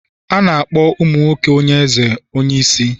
A na-akpọ ụmụ nwoke nye eze onye isi